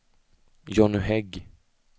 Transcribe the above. Johnny Hägg